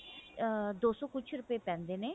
ah ਦੋ ਸੋ ਕੁਛ ਰੁਪਏ ਪੈਂਦੇ ਨੇ